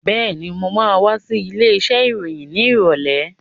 Been, mo ma wá sí ilé iṣẹ́ ìròyìn ní ìrọ̀lẹ́